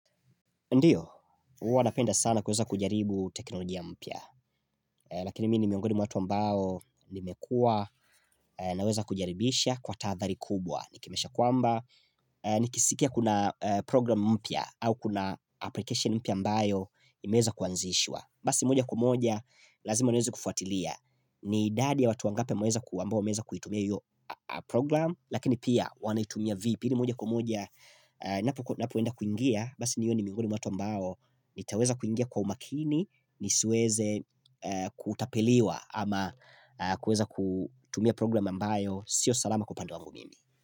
Ndiyo, huwa napenda sana kuweza kujaribu teknolojia mpya, lakini mi ni miongoni mwa watu ambao nimekua naweza kujaribisha kwa taathari kubwa. Nikimesha kwamba, nikisikia kuna program mpya au kuna application mpya ambayo imeeza kuanzishwa. Basi moja kumoja, lazima niweze kufuatilia. Ni idadi ya watu wangapi wameweza kuwamba wameza kuitumia yu program, lakini pia wanaitumia vipi ni moja kwa moja. Napoenda kuingia Basi niwe ni mingoni mwa watu ambao nitaweza kuingia kwa umakini nisiweze kutapeliwa Ama kueza kutumia program ambayo Sio salama kwa pande wangu mimi.